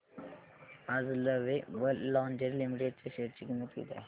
आज lovable lingerie limited च्या share ची किंमत किती आहे